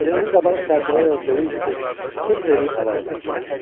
Pəncərənin qabağı sərcələrlə dolu idi deyə pırr eləyib havaya qalxdılar.